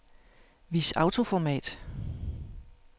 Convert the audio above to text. Vis autoformat.